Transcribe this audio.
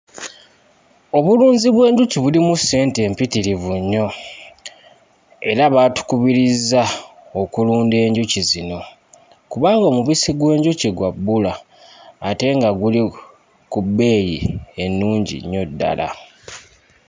Obulunzi bw'enjuki bulimu ssente mpitirivu nnyo era baatukubirizza okulunda enjuki zino kubanga omubissi gw'enjuki gwa bbula ate nga guli ku bbeeyi ennungi nnyo ddala.